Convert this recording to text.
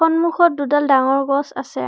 সন্মুখত দুডাল ডাঙৰ গছ আছে।